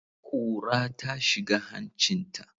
Ƙura ta shiga hancinta.